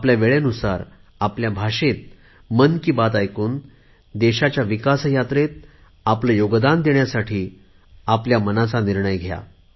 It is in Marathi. आपल्या वेळेनुसार आपल्या भाषेत मन की बात ऐकून देशाच्या विकास यात्रेत आपले योगदान देण्यासाठी आपणही तयार व्हा